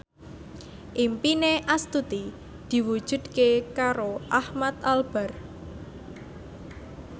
impine Astuti diwujudke karo Ahmad Albar